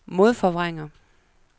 modforvrænger